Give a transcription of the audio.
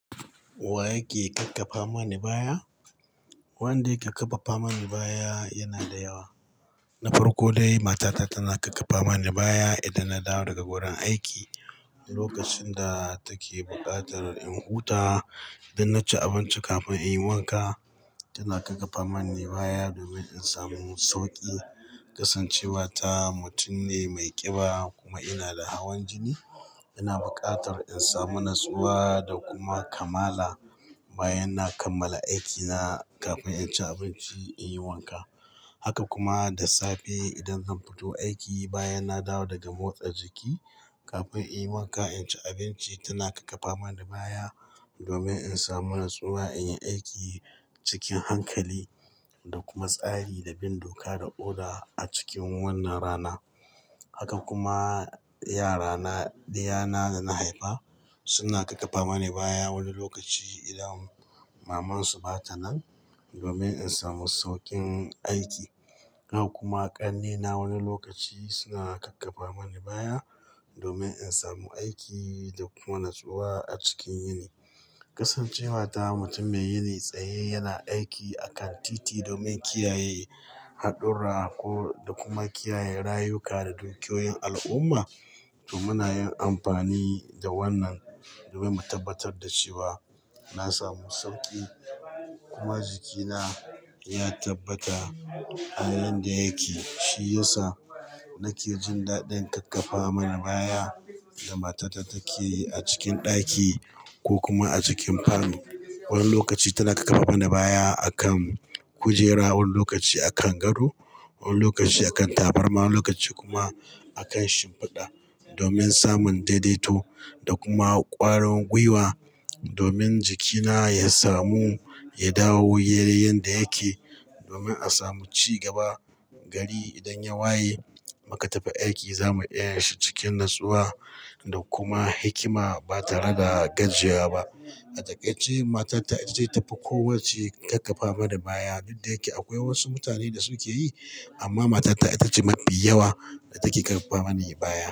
Wa yake kakkafa mani baya? Wadanda suka karfafa mani baya yanada yawa. Na farko dai, matata tana karfafa mani baya idan nadawo daga wurin aiki lokacin da take buƙatar in huta idan naci abinci kafin inyi wanka. Tana kakkafa mani baya domin in samu sauƙi, kasancewa ta mutum ne mai ƙiba kuma ina da hawan jini. Ina buƙatar in samu natsuwa da kuma kamala bayan na kammala aikina kafin inci abinci inyi wanka. Haka kuma da safe idan zan fito aiki bayan na dawo daga motsa jiki kafin inyi wanka inci abinci, tana karfafa mani baya domin in samu natsuwa inyi aiki cikin hankali da kuma tsari da bin doka da oda acikin wannan rana. Haka kuma, yara na, ɗiyana dana haifa suna karfafa mani baya wani lokaci idan maman su bata nan domin in samu sauƙin aiki. Haka kuma ƙannena wani lokaci suna karfafa mani baya domin in samu aiki da kuma natsuwa acikin yini. Kasancewa ta mutum mai yini tsaye yana aiki a kantiti domin kiyaye haɗurra ko, da kuma kiyaye rayuka da dukiyoyin al'umma. To, muna yin amfani da wannan domin mu tabbatar da cewa nasamu sauƙi kuma jikina ya tabbata a yanda yake. Shi ya sa nake jin daɗin karfafa mana baya da matata take acikin ɗaki ko kuma acikin falo. Wani lokaci tana karfafa mani baya akan kujera, wani lokaci akan gado, wani lokaci akan tabarma, wani lokaci kuma akan shimfiɗa domin samun daidaito da kuma ƙwarin gwiwa domin jikina ya samu yadawo yayi yanda yake domin a samu cigaba gari idan ya waye muka tafi aiki, zamu iya yinshi cikin natsuwa da kuma hikima ba tare da gajiyawa ba. A dakaice, matata itace tafi kowacce karfafa mani baya. Duk dayake akwai wasu mutane da suke yi, amma matata itace mafi yawa da take karfafa mani baya.